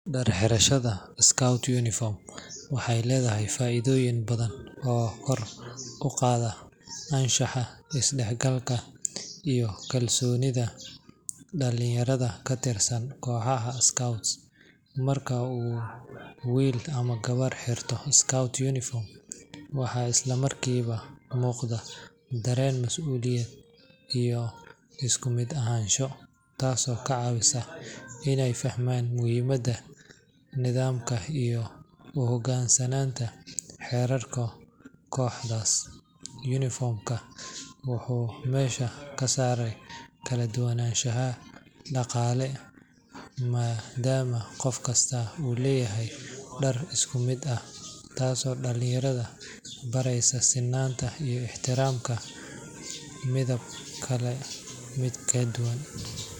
Dhar xirashada [scout uniform] waxay leedahay faa’iidooyin badan oo kor u qaado anshaxa, isdhexgalka, iyo kalsoonida dhalinyarada ka tirsan kooxaha [Scouts].Marka wiil ama gabar ay xirato [scout uniform], waxa isla markiiba muuqata kalsooni, dareen masuuliyad, iyo isku mid ahaansho, taas oo ka caawisa inay fahmaan muhiimadda nidaamka iyo u hoggaansanaanta xeerarka kooxda. [Uniformka] wuxuu meesha ka saaraa kala duwanaanshaha dhaqaale maadaama qof kastoo leeyahay dhar isku mid ah, taas oo dhalinyarada bareysa sunta ixtiraamka midab kale oo ka duwan.